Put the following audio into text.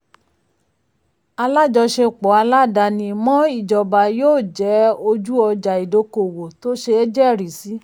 alájọṣepọ̀ aládàáni-mọ́-ìjọba yóò jẹ́ ojú ọjà ìdókòwò tó ṣeé jẹ́rìí sí.